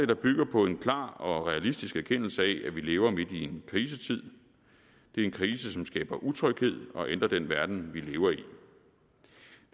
der bygger på en klar og realistisk erkendelse af at vi lever midt i en krisetid det er en krise som skaber utryghed og ændrer den verden vi lever i det